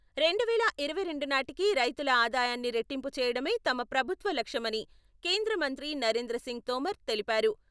రెండువేల ఇరవై రెండు నాటికి రైతుల ఆదాయాన్ని రెట్టింపు చేయడమే తమ ప్రభుత్వ లక్ష్యమని కేంద్ర మంత్రి నరేంద్ర సింగ్ తోమర్ తెలిపారు.